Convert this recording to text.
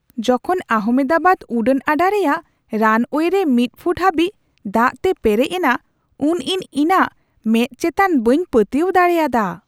ᱡᱚᱠᱷᱚᱱ ᱟᱦᱚᱢᱮᱫᱟᱵᱟᱫ ᱩᱰᱟᱹᱱ ᱟᱰᱟ ᱨᱮᱭᱟᱜ ᱨᱟᱱᱣᱮ ᱨᱮ ᱢᱤᱫ ᱯᱷᱩᱴ ᱦᱟᱹᱵᱤᱡ ᱫᱟᱜᱛᱮ ᱞᱮᱨᱮᱡ ᱮᱱᱟ ᱩᱱ ᱤᱧ ᱤᱧᱟᱹᱜ ᱢᱮᱸᱫ ᱮᱪᱛᱟᱱ ᱵᱟᱹᱧ ᱯᱟᱹᱛᱭᱟᱹᱣ ᱫᱟᱲᱮᱭᱟᱫᱟ ᱾